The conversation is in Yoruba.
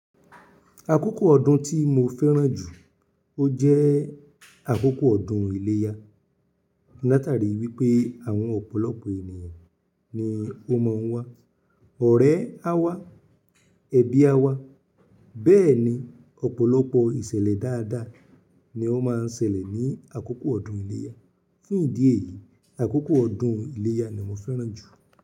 Akókò ọdún tí mo fẹ́ràn jù ó jẹ́ akókò ọdún ìléyà. Látàrí wípé àwọn ọ̀pọ̀lọpọ̀ ènìyàn ni ó máa ń wá. Ọ̀rẹ́ á wá, ẹbí á wá, bẹ́ẹ̀ ni ọ̀pọ̀lọpọ̀ ìṣẹ̀lẹ̀ dáadáa ni ó máa ń ṣẹlẹ̀ ní àkókò ọdún ìléyà. Fún ìdí èyí, àkókò ọdún ìléyà ni mo fẹ́ràn jù.